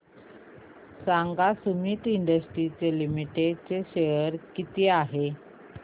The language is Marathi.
सांगा सुमीत इंडस्ट्रीज लिमिटेड चे शेअर मूल्य किती आहे